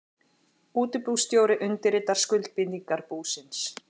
Útibússtjóri undirritar skuldbindingar búsins.